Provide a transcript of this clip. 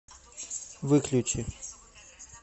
выключи